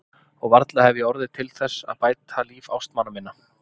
Og varla hef ég orðið til þess að bæta líf ástmanna minna.